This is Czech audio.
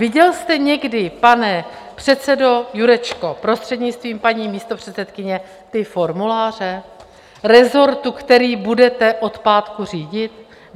Viděl jste někdy, pane předsedo Jurečko, prostřednictvím paní místopředsedkyně, ty formuláře rezortu, který budete od pátku řídit?